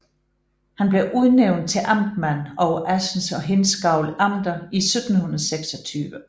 Han blev udnævnt til amtmand over Assens og Hindsgavl Amter i 1726